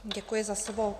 Děkuji za slovo.